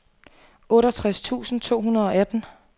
otteogtres tusind to hundrede og atten